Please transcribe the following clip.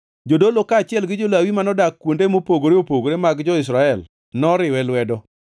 Jodolo kaachiel gi jo-Lawi manodak kuonde mopogore opogore mag jo-Israel noriwe lwedo.